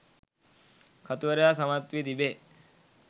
කතුවරයා සමත් වී තිබේ